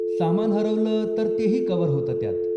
सामान हरवलं तर तेही कव्हर होतं त्यात.